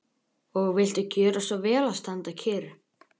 Og viltu gjöra svo vel að standa kyrr.